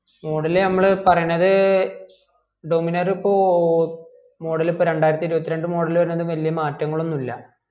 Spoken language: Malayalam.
model നമ്മള് പറയണത് dominar ഇപ്പൊ model ഇപ്പൊ രണ്ടായിരത്തി ഇരുപത്തി രണ്ട് model വരുനെ ഒന്നും ബെല്യ മാറ്റങ്ങൾ ഒന്നുല